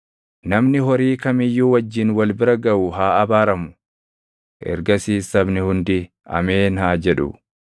“Namni horii kam iyyuu wajjin wal bira gaʼu haa abaaramu.” Ergasiis sabni hundi, “Ameen!” haa jedhu.